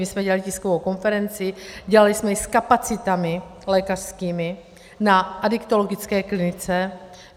My jsme dělali tiskovou konferenci, dělali jsme ji s kapacitami lékařskými na adiktologické klinice.